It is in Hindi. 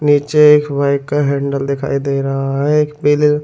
नीचे एक बाइक का हैंडल दिखाई दे रहा है एक ।